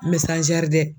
dɛ